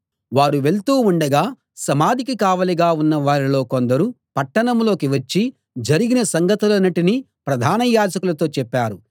వారు వెళ్తూ ఉండగా సమాధికి కావలిగా ఉన్నవారిలో కొందరు పట్టణంలోకి వచ్చి జరిగిన సంగతులన్నిటినీ ప్రధాన యాజకులతో చెప్పారు